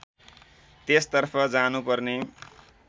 त्यसतर्फ जानुपर्ने